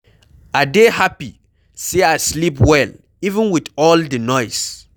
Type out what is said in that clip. I dey happy say I sleep well even with all the noise